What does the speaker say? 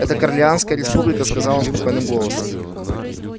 это корлианская республика сказал он спокойным голосом